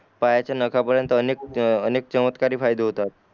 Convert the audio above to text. पायाचा नखा पर्यंत अनेक अनेक चमत्कारी फायदे होतात